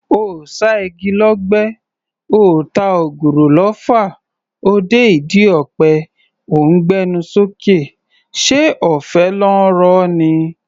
Oò ṣá igi lọ́gbẹ́, oò ta ògùrọ̀ lọfà, o dé ìdí ọ̀pẹ o ńgbé ẹnu sókè; ṣé ọ̀fẹ́ ló ńro ni?